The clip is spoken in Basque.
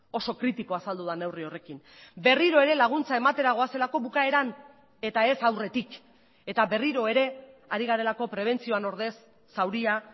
oso kritikoa azaldu da neurri horrekin berriro ere laguntza ematera goazelako bukaeran eta ez aurretik eta berriro ere ari garelako prebentzioan ordez zauria